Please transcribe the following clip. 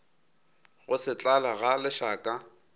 go se tlale ga lešaka